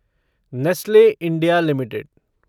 Nestle India limited